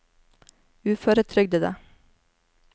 uføretrygdede